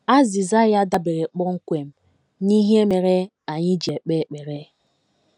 Azịza ya dabeere kpọmkwem n’ihe mere anyị ji ekpe ekpere.